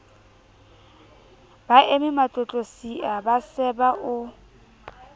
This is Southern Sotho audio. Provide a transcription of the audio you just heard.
baeme matlotlosia ba seba o